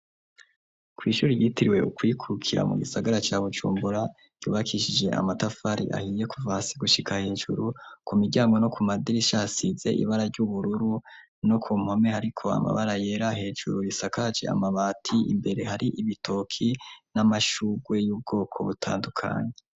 Kw'ishuri ryitiriwe ukwikukira mu gisagara cya bucumbura yubakishije amatafari ahiye kuvasi gushika hejuru ku mijyango no ku madirisha asize ibara ry'ubururu no ku mpome ariko amabara yera hejuru risakaje amabati imbere hari ibitoki n'amashugwe y'ubwoko butandukanye.